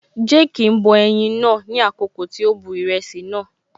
Jéèkì ń bọ ẹyin naa ní àkọ́kọ́ kí ó tó bu ìrẹsì naa